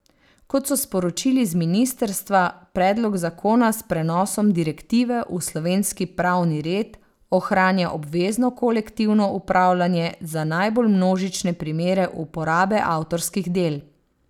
Kot so sporočili z ministrstva, predlog zakona s prenosom direktive v slovenski pravni red ohranja obvezno kolektivno upravljanje za najbolj množične primere uporabe avtorskih del.